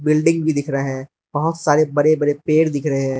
Building भी दिख रहा है बहोत सारे बड़े बड़े पेड़ दिख रहे हैं।